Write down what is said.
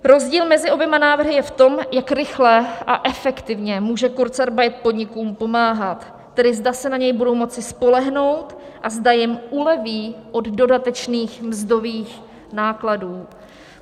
Rozdíl mezi oběma návrhy je v tom, jak rychle a efektivně může kurzarbeit podnikům pomáhat, tedy zda se na něj budou moci spolehnout a zda jim uleví od dodatečných mzdových nákladů.